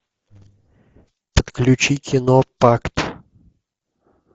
включи кино пакт